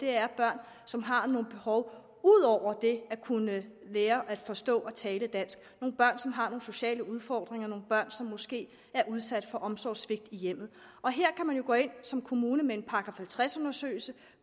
er børn som har nogle behov ud over det at kunne lære at forstå og tale dansk nogle børn som har nogle sociale udfordringer nogle børn som måske er udsat for omsorgssvigt i hjemmet og her kan man jo gå ind som kommune med en § halvtreds undersøgelse